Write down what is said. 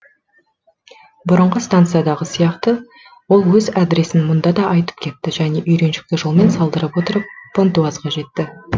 бұрынғы станциядағы сияқты ол өз адресін мұнда да айтып кетті және үйреншікті жолмен салдырып отырып понтуазға жетті